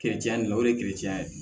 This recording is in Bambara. la o ye ye